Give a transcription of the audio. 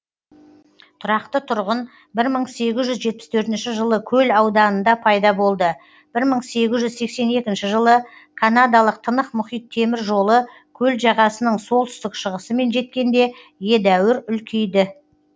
тұрақты тұрғын бір мың сегіз жүз жетпіс төртінші жылы көл ауданында пайда болды бір мың егіз жүз сексен екінші жылы канадалық тынық мұхит темір жолы көл жағасының солтүстік шығысымен жеткенде едәуір үлкейді